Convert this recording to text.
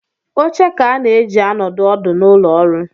Oche ka a na-eji anọdụ ọdụ n’ụlọọrụ